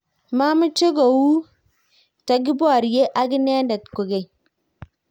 mameche koutikeborye ak inendet kokeny